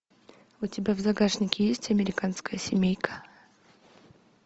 у тебя в загашнике есть американская семейка